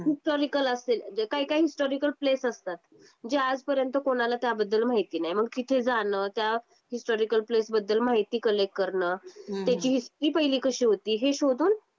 तर काही हिस्टोरिकेल असे काही काही हिस्टॉरिकल प्लेस असतात. जे आजपर्यंत कोणाला त्याबद्दल माहिती नाही. मग तिथे जाण. त्या हिस्टोरिकल प्लेस बद्दल माहिती कलेक्ट करणं. त्याची हिस्टरी पहिली कशी होती. हे शोधून